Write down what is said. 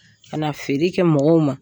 Kana na feere kɛ mɔgɔw ma.